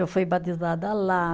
Eu fui batizada lá.